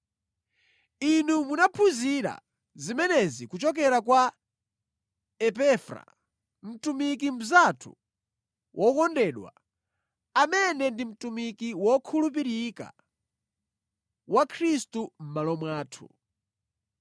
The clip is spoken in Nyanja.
Inu munaphunzira zimenezi kuchokera kwa Epafra, mtumiki mnzathu wokondedwa, amene ndi mtumiki wokhulupirika wa Khristu mʼmalo mwathu.